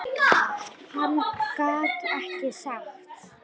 Hann gat ekki sagt það.